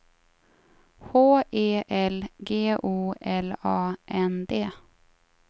H E L G O L A N D